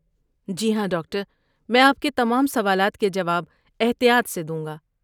جی ہاں، ڈاکٹر! میں آپ کے تمام سوالات کے جواب احتیاط سے دوں گا۔